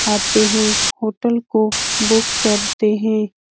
आते हैं होटल को बुक करते हैं।